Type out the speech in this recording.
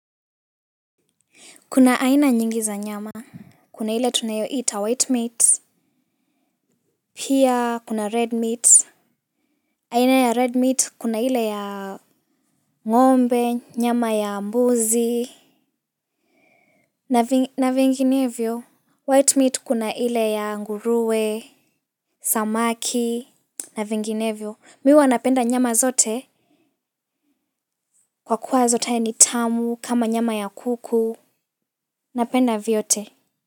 Kuna aina nyingi za nyama. Kuna hile tunayoita white meat. Pia kuna red meat. Aina ya red meat kuna hile ya ngombe, nyama ya mbuzi na vinginevyo White meat kuna ile ya nguruwe, samaki, na vinginevyo mi huwa napenda nyama zote kwa kuwa zote ya ni tamu, kama nyama ya kuku napenda vyote.